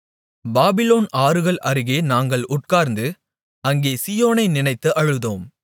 Babylon ஆறுகள் அருகே நாங்கள் உட்கார்ந்து அங்கே சீயோனை நினைத்து அழுதோம்